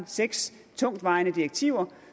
seks tungtvejende direktiver